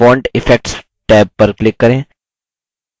font effects tab पर click करें